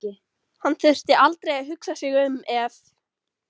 Hann þurfti aldrei að hugsa sig um ef